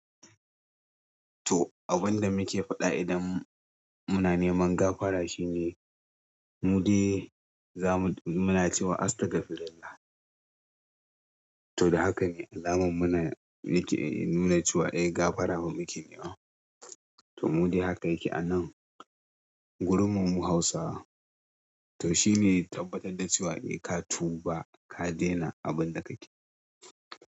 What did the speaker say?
To abunda muke faɗa idan muna neman gafara shine mu de zamu, muna cewa astagfirullah. To da haka ne alamar muna yi ke nuna cewa eh gafara muke nema. To mu de haka yake a nan. Gurum mu Hausa to shine tabbatar da cewa eh ka tuba, ka daina abinda kake.